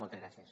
moltes gràcies